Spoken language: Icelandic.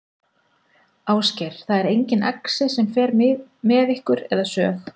Ásgeir: Það er engin exi sem fer með ykkur eða sög?